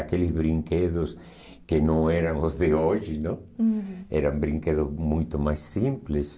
Aqueles brinquedos que não eram os de hoje, não? Uhum. Eram brinquedos muito mais simples.